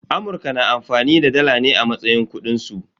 Amurka na amfani da dala ne a matsayin kudin su.